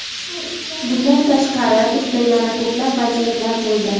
Bundan tashqari bizda yana ko‘plab vaziyatlar bo‘ldi.